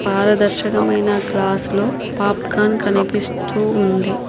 పారదర్శకమైన గ్లాస్లో పాప్కాన్ కనిపిస్తూ ఉంది.